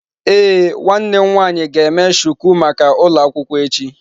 Ee, nwanne m nwanyi ga eme shuku maka ulo akwukwo echi.